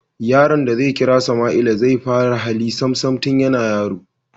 Yaron da zai kira Sama'ila zai fara hali Sam Sam tun yana yaro